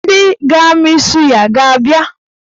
Ndị ga-amị suya a ga-abịa?